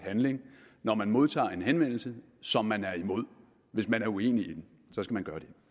når man modtager en henvendelse som man er imod hvis man er uenig